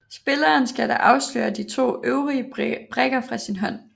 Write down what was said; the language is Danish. Spilleren skal da afsløre de to øvrige brikker fra sin hånd